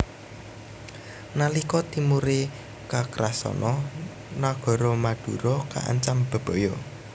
Nalika timure Kakrasana nagara Mandura kaancam bebaya